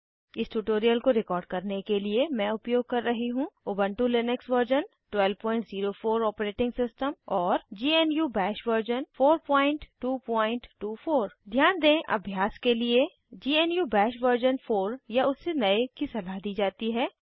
इस ट्यूटोरियल को रिकॉर्ड करने के लिए मैं उपयोग कर रही हूँ Ubuntu Linux version 1204 operating system और ग्नू बाश वर्जन 4224 ध्यान दें अभ्यास के लिए ग्नू बाश वर्जन 4 या उससे नए की सलाह दी जाती है